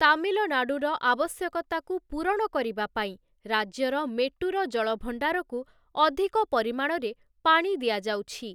ତାମିଲନାଡ଼ୁର ଆବଶ୍ୟକତାକୁ ପୂରଣ କରିବା ପାଇଁ ରାଜ୍ୟର ମେଟ୍ଟୂର ଜଳଭଣ୍ଡାରକୁ ଅଧିକ ପରିମାଣରେ ପାଣି ଦିଆଯାଉଛି ।